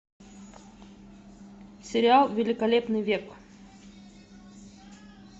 сериал великолепный век